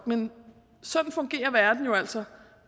men sådan fungerer verden jo altså